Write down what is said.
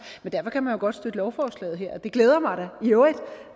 men derfor kan man jo godt støtte lovforslaget her det glæder mig da i øvrigt